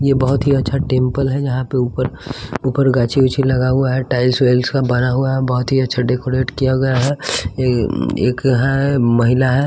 ये बहुत ही अच्छा टेंपल है जहाँ पर ऊपर ऊपर गाछी उछि लगा हुआ है टाइल्स वेल्स का बना हुआ है बहुत ही अच्छा डेकोरेट किया गया है ये एक है महिला है --